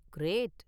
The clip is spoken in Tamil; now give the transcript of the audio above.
கிரேட்!